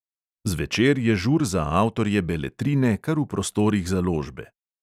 Zvečer je žur za avtorje beletrine kar v prostorih založbe.